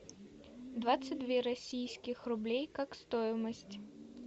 двадцать две российских рублей как стоимость